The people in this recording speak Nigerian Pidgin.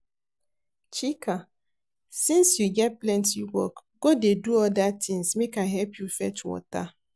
Chika since you get plenty work go dey do other things make I help you fetch water